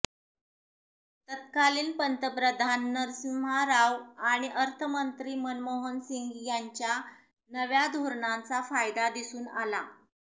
तत्कालिन पंतप्रधान नरसिंम्हा राव आणि अर्थमंत्री मनमोहन सिंग यांच्या नव्या धोरणांचा फायदा दिसून आला